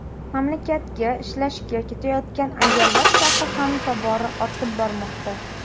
Mamlakatga ishlashga ketayotgan ayollar safi ham tobora ortib bormoqda.